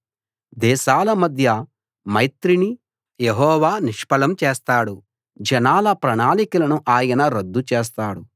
దేశాల మధ్య మైత్రిని యెహోవా నిష్ఫలం చేస్తాడు జనాల ప్రణాళికలను ఆయన రద్దు చేస్తాడు